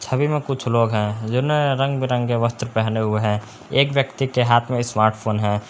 छवि में कुछ लोग है जिन्होने रंग बिरंगे वस्त्र पहने हुए हैं एक व्यक्ति के हाथ में स्मार्टफोन है।